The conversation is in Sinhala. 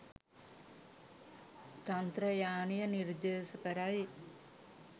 තන්ත්‍රයානය නිර්දේශ කරයි